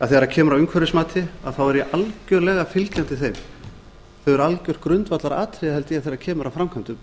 að þegar kemur að umhverfismati er ég algjörlega fylgjandi þeim þau eru algjört grundvallaratriði held ég þegar kemur að framkvæmdum